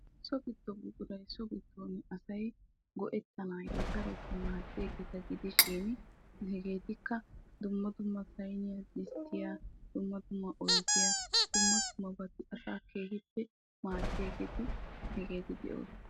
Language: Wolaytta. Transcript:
So gido buquray so giddon asay go'ettanawu maaddiyagetta gidishin ettikka disttiya, bashiya baattanne hara cora buquratta.